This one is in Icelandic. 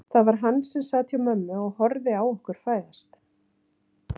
Það var hann sem sat hjá mömmu og horfði á okkur fæðast.